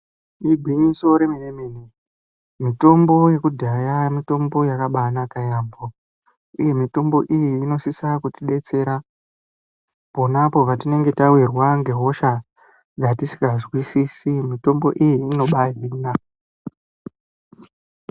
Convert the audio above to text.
Igwinyiso remene-mene mitombo yakudhaya mitombo yakabanaka yaamho, uye mitombo iyi inosisa kuti betsera ponapo patinenge tavirwa ngehosha dzatisikazwisisi mitombo iyi inobahina.